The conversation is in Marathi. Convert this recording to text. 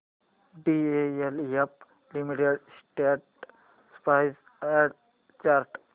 DLF limited stock price and chart